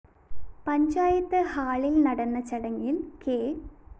പഞ്ചായത്ത് ഹാളില്‍ നട ചടങ്ങില്‍ കെ